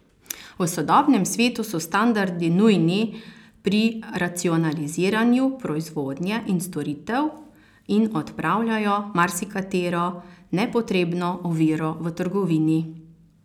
V sodobnem svetu so standardi nujni pri racionaliziranju proizvodnje in storitev in odpravljajo marsikatero nepotrebno oviro v trgovini.